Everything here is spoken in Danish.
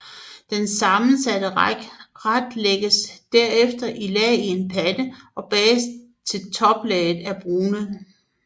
Den sammensatte ret lægges derefter i lag i en pande og bages til toplaget er brunet